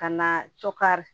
Ka na cokari